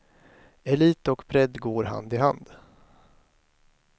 Elit och bredd går hand i hand.